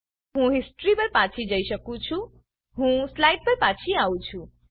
હું હિસ્ટ્રી પર પાછી જઈ શકું છું હું સ્લાઈડ પર પાછી આવી છું